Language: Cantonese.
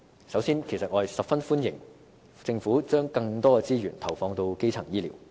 首先，我十分歡迎政府把更多資源投放到基層醫療。